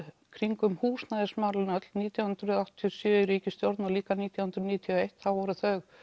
kringum húsnæðismálin öll nítján hundruð áttatíu og sjö í ríkisstjórn og líka nítján hundruð níutíu og eitt voru þau